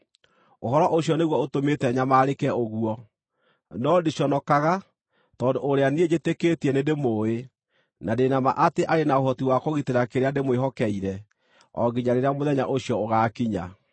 Ũhoro ũcio nĩguo ũtũmĩte nyamarĩke ũguo. No ndiconokaga, tondũ ũrĩa niĩ njĩtĩkĩtie nĩndĩmũũĩ, na ndĩ na ma atĩ arĩ na ũhoti wa kũgitĩra kĩrĩa ndĩmwĩhokeire o nginya rĩrĩa mũthenya ũcio ũgaakinya.